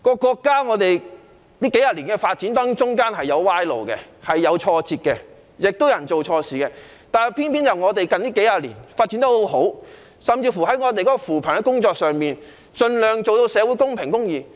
國家在發展的過程中，的確曾經走上歪路，遇上挫折，亦有人做錯事，但偏偏國家近幾十年發展得很好，在扶貧工作上盡量做到社會公平公義。